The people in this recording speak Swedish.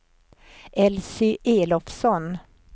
Elsy Elofsson